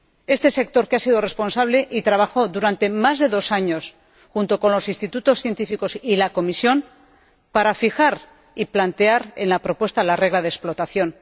Este sector ha sido responsable y ha trabajado más de dos años junto con los Institutos científicos y la Comisión para fijar y plantear en la propuesta la regla de explotación.